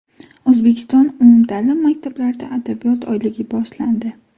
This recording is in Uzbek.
O‘zbekiston umumta’lim maktablarida Adabiyot oyligi boshlandi.